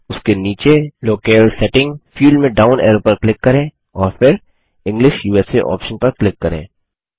उसके नीचे locale setting field में डाउन एरो पर क्लिक करें और फिर इंग्लिश उसा ऑप्शन पर क्लिक करें